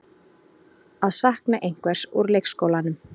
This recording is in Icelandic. Að sakna einhvers úr leikskólanum